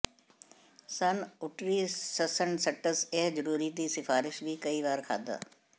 ਸਨਉਟਰੀਸਸਨਸਟਸ ਇਹ ਜ਼ਰੂਰੀ ਦੀ ਸਿਫਾਰਸ਼ ਵੀ ਕਈ ਵਾਰ ਖਾਧਾ